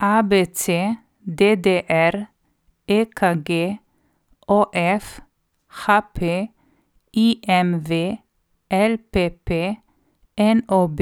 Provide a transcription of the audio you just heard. ABC, DDR, EKG, OF, HP, IMV, LPP, NOB,